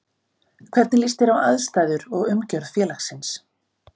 Hvernig líst þér á aðstæður og umgjörð félagsins?